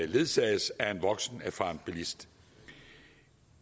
ledsages af en voksen erfaren bilist